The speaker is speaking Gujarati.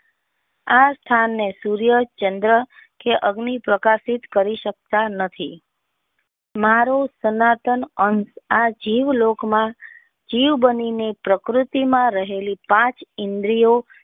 આ સ્થાન ને સૂર્ય ચંદ્ર અગ્નિ પ્રકાશિત કરી સકતા નથી મારો સનાતન અંત આ જીવ લોક માં જીવ બનીને પ્રકૃતિ માં રહેલી પાંચ ઇન્દ્રિયો.